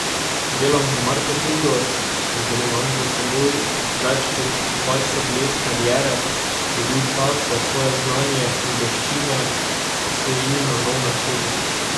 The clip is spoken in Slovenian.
Delam v marketingu, in ker imam za seboj več kot dvajset let kariere, je bil čas, da svoje znanje in veščine osvežim na nov način.